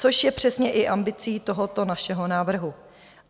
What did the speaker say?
- Což je přesně i ambicí tohoto našeho návrhu.